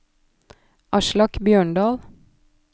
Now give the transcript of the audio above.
Aslak Bjørndal